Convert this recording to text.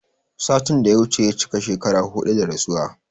Satin da ya wuce ya cika shekara huɗu da rasuwa